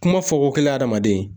Kuma fɔko kelen adamaden